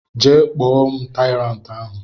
Jee kpọ m tyrant ahụ!!